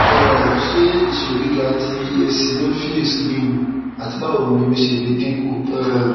um ṣe iṣiro giga ti eosinophils lewu ati bawo ni o ṣe le dinku um